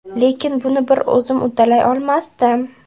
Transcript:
Lekin buni bir o‘zim uddalay olmasdim.